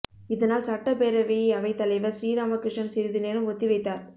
இதனால் சட்டப் பேரவையை அவைத் தலைவர் ஸ்ரீராமகிருஷ்ணன் சிறிது நேரம் ஒத்திவைத்தார்